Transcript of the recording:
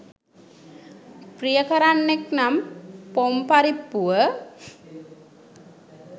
ප්‍රිය කරන්නෙක් නම් පොම්පරිප්පුව